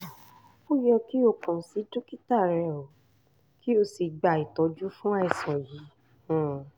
ó yẹ kí o kàn sí dókítà rẹ kí o sì gba ìtọ́jú fún àìsàn yìí